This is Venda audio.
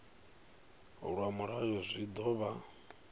lwa mulayo zwi ḓo vha